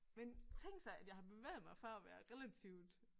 Men tænk sig at jeg har bevæget mig fra at være relativt